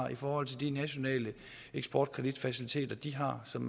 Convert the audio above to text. i forhold til de nationale eksportkredit faciliteter de har som